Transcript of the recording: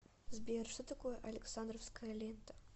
сбер что такое александровская лента